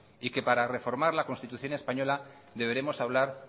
y que para reformar la constitución española deberemos hablar